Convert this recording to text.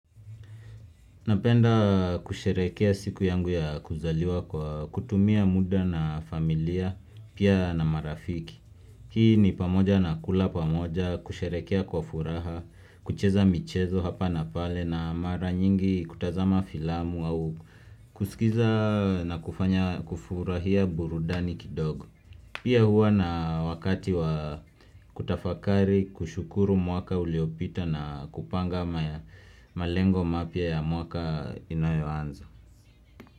Napenda kusherekea siku yangu ya kuzaliwa kwa kutumia muda na familia, pia na marafiki. Hii ni pamoja na kula pamoja, kusherekea kwa furaha, kucheza michezo hapa na pale na mara nyingi kutazama filamu au kusikiza na kufurahia burudani kidogo. Pia huwa na wakati wa kutafakari kushukuru mwaka uliopita na kupanga ama ya malengo mapya ya mwaka inayoanza.